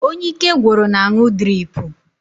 Onye ike gwụrụ na-aṅụ driipu.